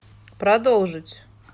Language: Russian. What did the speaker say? продолжить